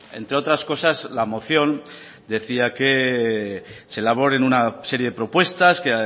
entre otras cosas la moción decía que se elaboren una serie de propuestas que